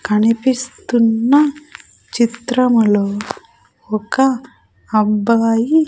కనిపిస్తున్న చిత్రములో ఒక అబ్బాయి--